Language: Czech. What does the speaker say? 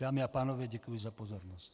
Dámy a pánové, děkuji za pozornost.